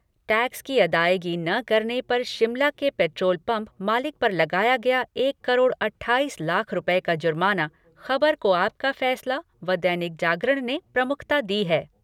Tax की अदायगी न करने पर शिमला के पैट्रोल पंप मालिक पर लगाया एक करोड़ अट्ठाईस लाख रूपये का जुर्माना खबर को आपका फैसला व दैनिक जागरण ने प्रमुखता दी है।